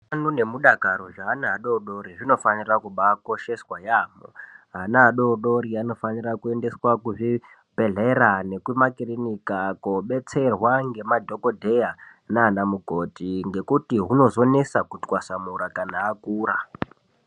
Utano nemudakaro zveana adodori zvinofanira kubakosheswa yaamho. Ana adodori anofanira kuendeswe kuzvidhedhleya nekumakirinika kobetserwa nemadhogodheya nana mukoti. Ngekuti hunozonesa kutwasamura kana akura.